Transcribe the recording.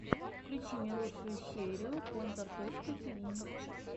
включи мне лучшую серию контор точка ти ви